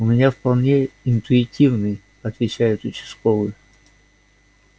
у меня вполне интуитивный отвечает участковый